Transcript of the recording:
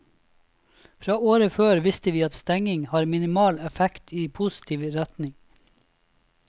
Fra året før visste vi at stengning har minimal effekt i positiv retning.